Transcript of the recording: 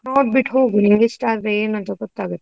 ನೋಡ್ಬಿಟ್ಟು ಹೋಗು, ನಿನ್ಗ್ ಇಸ್ಟ ಆದ್ರೆ ಏನೂನ್ತ ಗೊತ್ತಾಗುತಲ್ಲ?